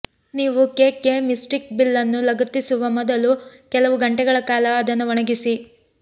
ನೀವು ಕೇಕ್ಗೆ ಮಿಸ್ಟಿಕ್ ಬಿಲ್ಲನ್ನು ಲಗತ್ತಿಸುವ ಮೊದಲು ಕೆಲವು ಗಂಟೆಗಳ ಕಾಲ ಅದನ್ನು ಒಣಗಿಸಿ